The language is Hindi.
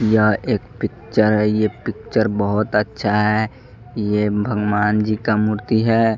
यह एक पिक्चर है ये पिक्चर बहुत अच्छा है ये भगवान जी का मूर्ति है.